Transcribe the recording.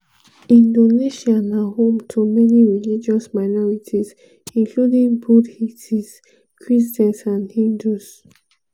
indonesia na home to many religious minorities including buddhists christians and hindus.